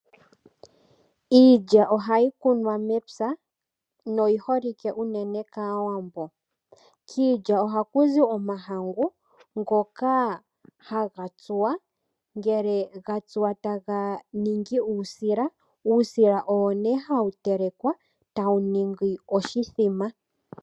Iilya ohayi kunwa mepya noyi holike unene kAawambo. Kiilya ohaku zi omahangu ngoka haga tsuwa ngele gatsuwa taga niingi uusila, uusila owo nee hawu telekwa tawu ningi oshimbombo.